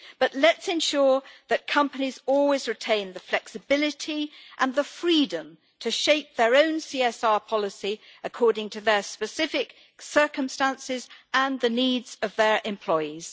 But let's ensure that companies always retain the flexibility and the freedom to shape their own CSR policy according to their specific circumstances and the needs of their employees.